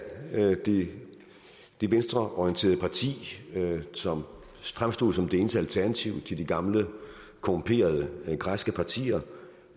det venstreorienterede parti som fremstod som det eneste alternativ til de gamle korrumperede græske partier